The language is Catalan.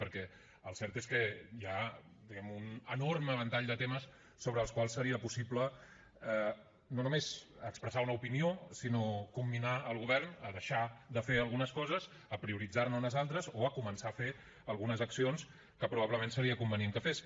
perquè el cert és que hi ha diguem ne un enorme ventall de temes sobre els quals seria possible no només expressar una opinió sinó comminar el govern a deixar de fer algunes coses a prioritzar ne unes altres o a començar a fer algunes accions que probablement seria convenient que fes